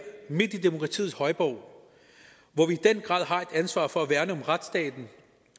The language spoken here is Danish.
midt i demokratiets højborg hvor vi i den grad har et ansvar for at værne om retsstaten